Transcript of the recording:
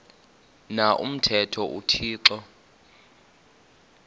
na umthetho uthixo